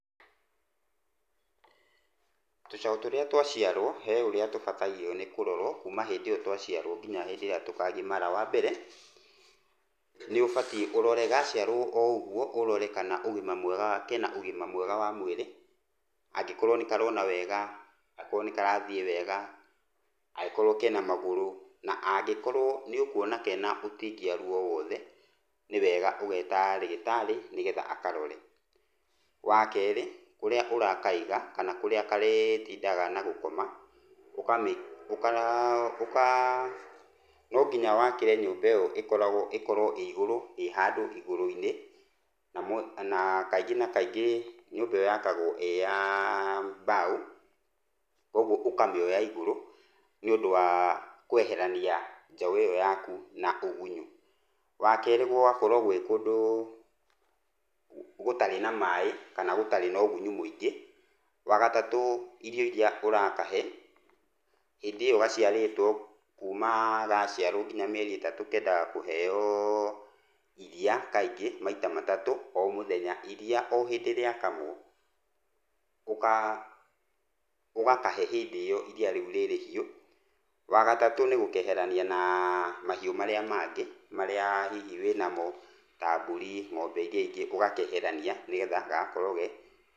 Tũcaũ tũrĩa twaciarwo he ũrĩa tũbatairio nĩ kũrorwo kuuma hĩndĩ ĩyo twaciarwo nginya hĩndĩ ĩrĩa tũkagimara, wa mbere nĩ ũbatiĩ ũrore gacĩarwo o ro ũguo ũrore ka na ũgima mwega kana ke na ũgima mwega wa mũĩrĩ, angĩkorwo nĩ karona wega, akorwo ni karathiĩ wega, angĩkorwo kena magũrũ, na angĩkorwo nĩ ũkũona ke na ũtindiaru o wothe nĩ wega ũgeta rĩgĩtarĩ nĩgetha akarore. Wa kerĩ, kũria ũrakaiga kana kũrĩa karĩtindaga na gũkoma ũka no nginya wakĩre nyũmba ĩ yo ĩkorwo ĩ igũrũ handũ igũrũ-inĩ na kaingĩ na kaingĩ nyũmba ĩ yo ya kagwo ĩ ya mbaũ. Kogwo ũkamĩoya igũrũ nĩ ũndũ wa kweherania njaũ ĩ yo yaku na ũgunyũ. Wa kerĩ gũgakorwo gwĩ kũndũ gũtarĩ na maaĩ kana gũtarĩ na ũgunyũ mũingĩ. Wa gatatũ, irio irĩa ũrakahe hĩndĩ ĩ yo gaciarĩtwo kuuma gaciarwo nginya mĩeri ĩtatũ kendaga kũheyo iria kaingĩ maita matatũ o mũthenya. Iria o hĩndĩ rĩa kamwo, ũgakahe hĩndĩ ĩ yo rĩrĩ hiyũ. Wa gatatũ, nĩ gũkeherania na mahiũ marĩa mangĩ marĩa hihi wĩ na mo ta mbũri, ng'ombe irĩa ingĩ ũgakeherania nĩgetha gagakorwo ge